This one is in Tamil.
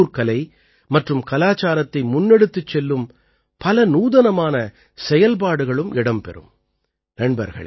இதிலே உள்ளூர் கலை மற்றும் கலாச்சாரத்தை முன்னெடுத்துச் செல்லும் பல நூதனமான செயல்பாடுகளும் இடம் பெறும்